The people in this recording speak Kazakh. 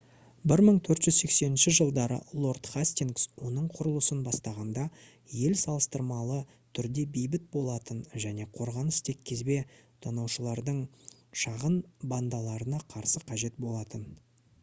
1480 жылдары лорд хастингс оның құрылысын бастағанда ел салыстырмалы түрде бейбіт болатын және қорғаныс тек кезбе тонаушылардың шағын бандаларына қарсы қажет болатын